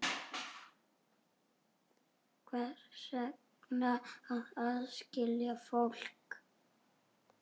Hvers vegna að aðskilja fólk?